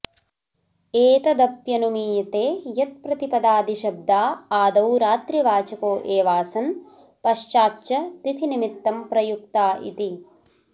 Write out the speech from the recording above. एतदप्यनुमीयते यत्प्रतिपदादिशब्दा आदौ रात्रिवाचको एवासन पश्चाच्च तिथिनिमित्तं प्रयुक्ता इति